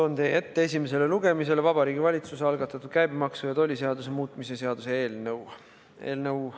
Toon teie ette esimesele lugemisele Vabariigi Valitsuse algatatud käibemaksuseaduse ja tolliseaduse muutmise seaduse eelnõu.